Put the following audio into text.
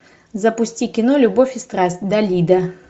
запусти кино любовь и страсть далида